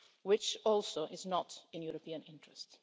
which also is not in the European interest.